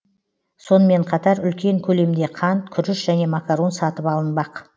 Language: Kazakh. сонымен қатар үлкен көлемде қант күріш және макарон сатып алынбақ